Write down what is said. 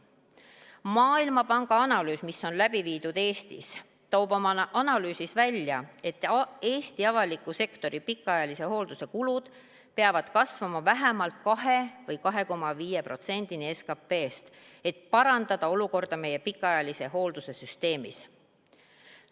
Maailmapanga analüüs, mis on läbi viidud Eestis, toob välja, et Eesti avaliku sektori pikaajalise hoolduse kulud peavad kasvama vähemalt 2 või 2,5%-ni SKP-st, et parandada olukorda meie pikaajalise hoolduse süsteemis.